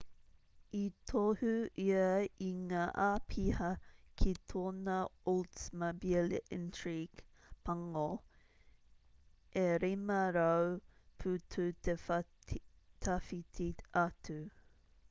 i tohu ia i ngā āpiha ki tōna oldsmobile intrigue pango e 500 putu te tawhiti atu